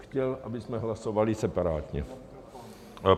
Chtěl, abychom hlasovali separátně.